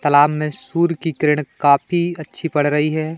तलाब में सूर की किरण काफी अच्छी पड़ रही है।